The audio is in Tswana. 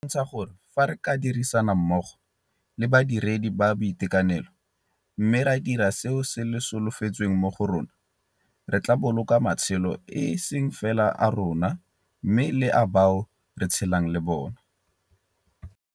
E bontsha gore fa re ka dirisana mmogo le badiredi ba boitekanelo mme ra dira seo se solofetsweng mo go rona, re tla boloka matshelo e seng fela a rona mme le a bao re tshelang le bona.